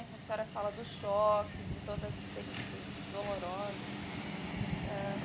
É que a senhora fala dos choques, de todas as experiências dolorosas. ãh